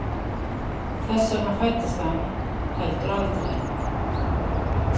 Þess vegna fæddist hann heldur aldrei.